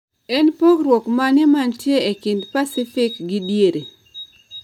En pogruok mane mantie e kind Pasifik gi Diere